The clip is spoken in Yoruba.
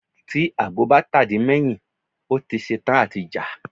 Tí Àgbò bá tà di mẹ́ yìn, ó ti ṣe tán à ti jà.